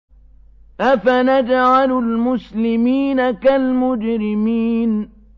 أَفَنَجْعَلُ الْمُسْلِمِينَ كَالْمُجْرِمِينَ